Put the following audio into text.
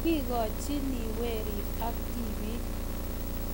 kikochiniwerik ak tibik